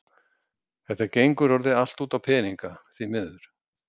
Þetta gengur orðið allt út á peninga, því miður.